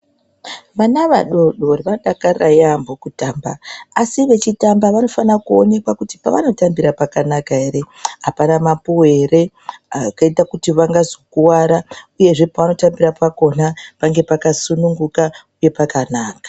Vana vadodori vanodakarayambo kutamba asi vechitamba vanofana kuonekwa kuti pavanotambira pakanaka ere ,apana mapuwe ere angaita kuti vangazokuwara uyezve pavanotambira pakona pange pakasununguka uye pakanaka .